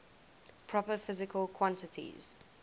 proper physical quantities